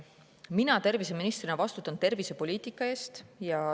" Mina terviseministrina vastutan tervisepoliitika eest.